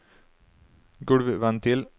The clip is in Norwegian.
gulvventil